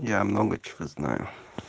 я много чего знаю